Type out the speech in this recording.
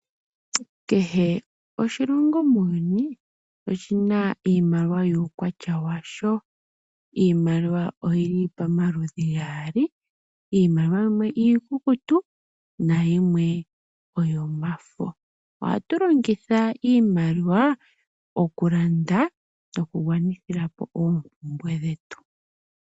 Kehe oshilongo muuyuni oshina iimaliwa yuukwatya washo. Iimaliwa oyili pamaludhi gaali, iimaliwa yimwe iikukutu nayimwe oyomafo. Ohatu longitha iimaliwa oku landa noku gwanithila po oompumbwe dhetu.